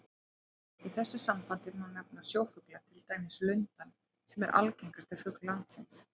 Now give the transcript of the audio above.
Í þessu sambandi má nefna sjófugla, til dæmis lundann sem er algengasti fugl landsins.